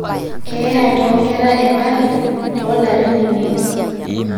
keeya toonkera 1000 toolarin imiet